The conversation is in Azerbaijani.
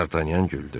Dartanyan güldü.